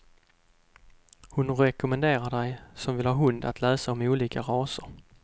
Hon rekommenderar dig som vill ha hund att läsa om olika raser.